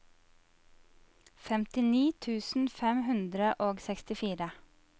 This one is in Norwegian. femtini tusen fem hundre og sekstifire